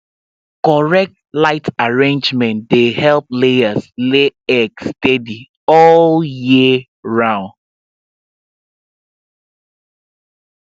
correct light arrangement dey help layers lay egg steady all year round